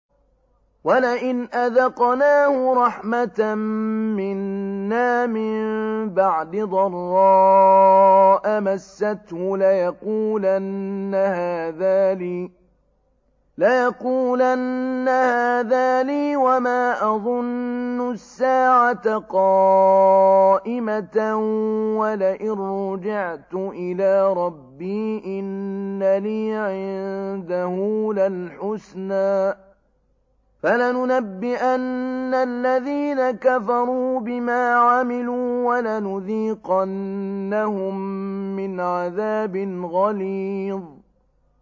وَلَئِنْ أَذَقْنَاهُ رَحْمَةً مِّنَّا مِن بَعْدِ ضَرَّاءَ مَسَّتْهُ لَيَقُولَنَّ هَٰذَا لِي وَمَا أَظُنُّ السَّاعَةَ قَائِمَةً وَلَئِن رُّجِعْتُ إِلَىٰ رَبِّي إِنَّ لِي عِندَهُ لَلْحُسْنَىٰ ۚ فَلَنُنَبِّئَنَّ الَّذِينَ كَفَرُوا بِمَا عَمِلُوا وَلَنُذِيقَنَّهُم مِّنْ عَذَابٍ غَلِيظٍ